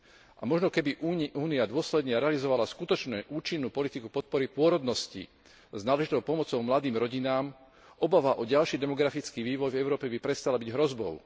A možno keby Únia dôsledne realizovala skutočne účinnú politiku podpory pôrodnosti s náležitou pomocou mladým rodinám, obava o ďalší demografický vývoj v Európe by prestala byť hrozbou.